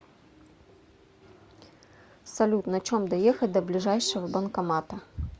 салют на чем доехать до ближайшего банкомата